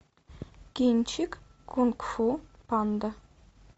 кинчик кунг фу панда